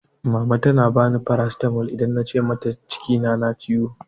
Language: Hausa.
Mama tana bani farasitamol idan na ce ina kina na ciwo